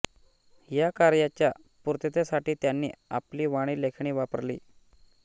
या कार्याच्या पूर्ततेसाठी त्यांनी आपली वाणी लेखणी वापरली